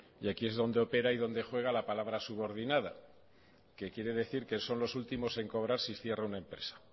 y aquí es donde opera y donde juega la palabra subordinada que quiere decir que son los últimos en cobrar si cierra una empresa